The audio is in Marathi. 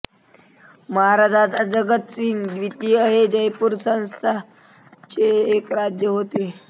महाराजा जगत सिंह द्वितीय हे जयपूर संस्थानाचे एक राजा होते